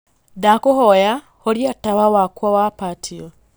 ndakūhoya horia tawa wakwa wa patio